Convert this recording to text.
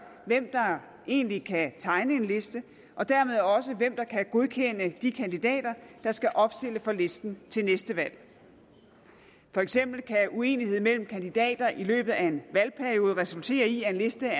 hvem der egentlig kan tegne en liste og dermed også hvem der kan godkende de kandidater der skal opstille for listen til næste valg for eksempel kan uenighed mellem kandidater i løbet af en valgperiode resultere i at en liste